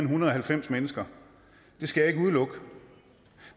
hundrede og halvfems mennesker det skal jeg ikke udelukke